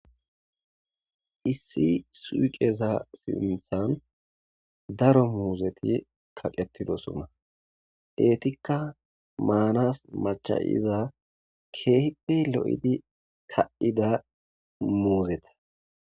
Issi suuqeza sinthan daro muuzeti kaqetidosona eetikka maanas macha7iza keepe lo7idi ka7ida moozeta.